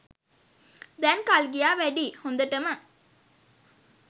දැන් කල් ගියා වැඩියි හොඳටම.